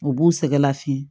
U b'u sɛgɛlafi